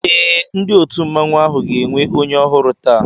Eé, ndị òtù mmanwu áhù ga-enwe onye ọhụrụ taa